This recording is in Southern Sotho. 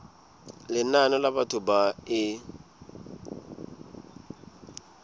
lenane la batho ba e